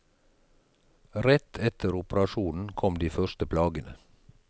Rett etter operasjonen kom de første plagene.